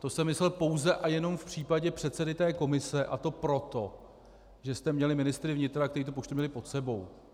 To jsem myslel pouze a jenom v případě předsedy té komise, a to proto, že jste měli ministry vnitra, kteří tu poštu měli pod sebou.